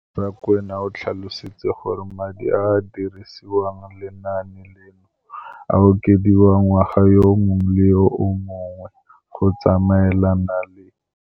Rakwena o tlhalositse gore madi a a dirisediwang lenaane leno a okediwa ngwaga yo mongwe le yo mongwe go tsamaelana le